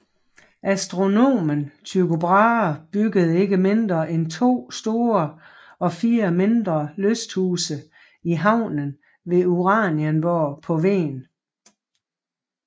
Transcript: Astronomen Tycho Brahe byggede ikke mindre end to store og fire mindre lysthuse i haven ved Uranienborg på Hven